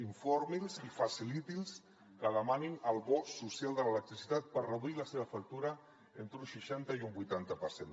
informi’ls i faciliti’ls que demanin el bo social de l’electricitat per reduir la seva factura entre un seixanta i un vuitanta per cent